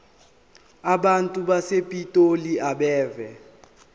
abantu basepitoli abeve